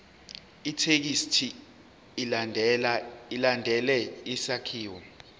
ithekisthi ilandele isakhiwo